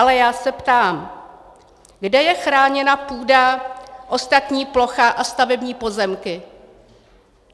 Ale já se ptám: kde je chráněna půda, ostatní plocha a stavební pozemky?